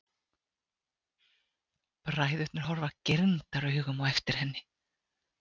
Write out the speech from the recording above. Bræðurnir horfa girndaraugum á eftir henni.